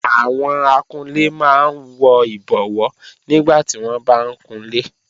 Àwọn akunlé máa ń wọ ìbọwó nígbàtí wọ́n bá ń kunlé